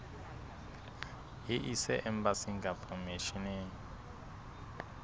e ise embasing kapa misheneng